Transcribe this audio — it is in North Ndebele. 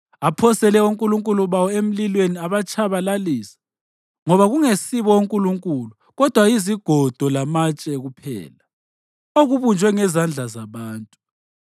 Aphosele onkulunkulu bawo emlilweni abatshabalalisa, ngoba kungesibo onkulunkulu kodwa yizigodo lamatshe kuphela, okubunjwe ngezandla zabantu.